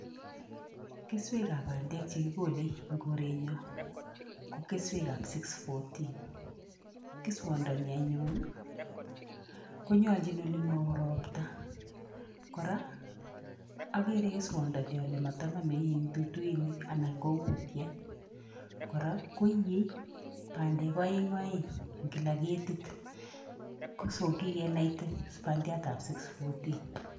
Keswekap bandek chekikole eng korenyo, ko keswekap six hundred and fourteen. Keswondoni anyun, konyolchin olemao ropta. Kora akere keswondoni ale matanome in duduinik anan ko kutyet kora koie bandek oeng oeng eng kila ketit kikenaite bandiatap six hundred and fourteen.